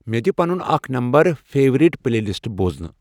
مے دِ پنُن اکھ نمبر فیورٹ پلے لسٹہٕ بوزنہٕ ۔